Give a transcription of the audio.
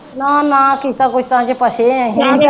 ਨਾ ਨਾ ਕਿਸਤਾਂ ਕੁਸ਼ਤਾ ਚ ਫਸੇ ਆਂ।